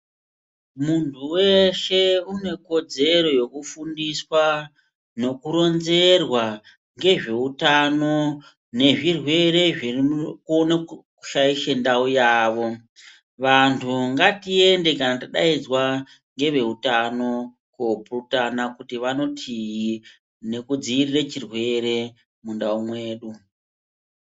Munhu weshe une kodzero yekufundiswa nekuronzerwa ngezveutano nezvirwere zvinokona kushaisha ndau yavo . Vantu ngatiende kana tadaidzwa ngeveutano koopurutana kuti vanotii nekudziirirwa chirwere mundau mwedu.